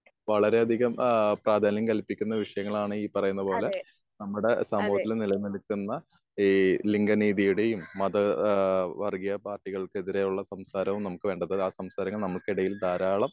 വളരെ അധികം ഏഹ് പ്രാധാന്യം കല്പിക്കുന്ന വിഷയങ്ങളാണ് ഈ പറയുന്ന പോലെ നമ്മുടെ സമൂഹത്തിൽ നില നിന്ന് കൊണ്ടിരിക്കുന്ന ഈ ലിംഗ രീതിയുടേയും ഈ മത ഏഹ് വർഗീയ പാർട്ടികൾക്കെതിരെ ഉള്ള സംസാരവും നമുക്ക് വേണ്ട. എന്താന്ന് ആഹ് സംസാരിക്കുന്ന നമുക്കിടയിൽ ധാരാളം